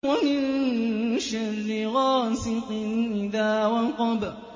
وَمِن شَرِّ غَاسِقٍ إِذَا وَقَبَ